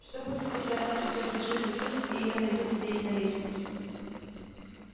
что будет если она сейчас лишится чувств и её найдут здесь на лестнице